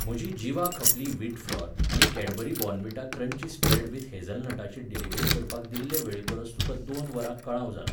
म्हजी जिवा खपली व्हीट फ्लॉर आनी Cadbury Bournvita crunchy spread with हेझलनटाची डिलिव्हरी करपाक दिल्ले वेळेपरस तुका दोन वरां कळाव जाला.